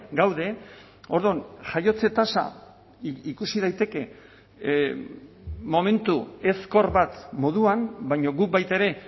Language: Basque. gaude orduan jaiotze tasa ikusi daiteke momentu ezkor bat moduan baina guk baita ere